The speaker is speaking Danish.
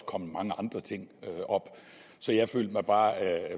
kommet mange andre ting op så jeg følte mig bare